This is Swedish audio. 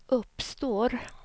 uppstår